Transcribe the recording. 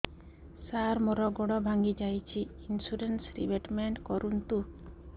ସାର ମୋର ଗୋଡ ଭାଙ୍ଗି ଯାଇଛି ଇନ୍ସୁରେନ୍ସ ରିବେଟମେଣ୍ଟ କରୁନ୍ତୁ